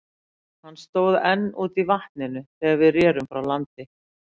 Hann stóð enn úti í vatninu, þegar við rerum frá landi.